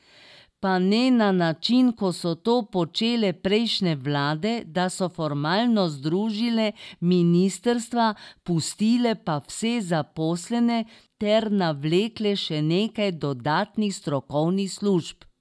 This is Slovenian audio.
Pa ne na način, kot so to počele prejšnje vlade, da so formalno združile ministrstva, pustile pa vse zaposlene ter navlekle še nekaj dodatnih strokovnih služb.